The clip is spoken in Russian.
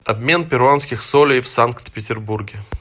обмен перуанских солей в санкт петербурге